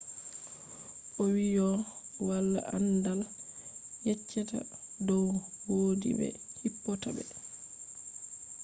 owiiyo walaa anndaal yeccheta dow woodi be hippota be